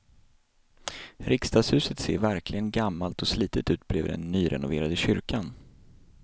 Riksdagshuset ser verkligen gammalt och slitet ut bredvid den nyrenoverade kyrkan.